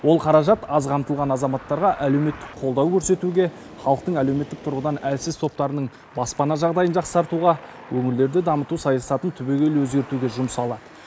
ол қаражат аз қамтылған азаматтарға әлеуметтік қолдау көрсетуге халықтың әлеуметтік тұрғыдан әлсіз топтарының баспана жағдайын жақсартуға өңірлерді дамыту саясатын түбегейлі өзгертуге жұмсалады